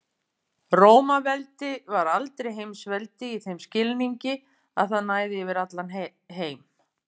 Rómaveldi var aldrei heimsveldi í þeim skilningi að það næði yfir heim allan.